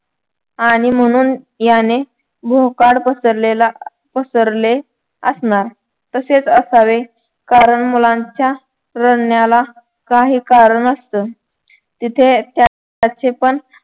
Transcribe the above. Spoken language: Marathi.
आणि म्हणून याने भोकाड पसरलेला पसरले असणार तसेच असावे कारण मुलांच्या तज्ज्ञाला काही कारण असत तिथे अह त्याचे पण